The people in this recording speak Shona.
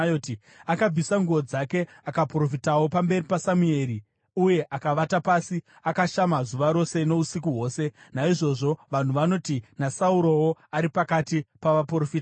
Akabvisa nguo dzake akaprofitawo pamberi paSamueri uye akavata pasi akashama zuva rose nousiku hwose. Naizvozvo vanhu vanoti, “NaSaurowo ari pakati pavaprofita here?”